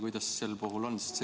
Kuidas sel puhul on?